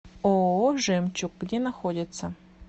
ооо жемчуг где находится